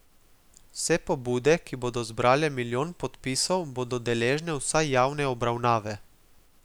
Vse pobude, ki bodo zbrale milijon podpisov, bodo deležne vsaj javne obravnave.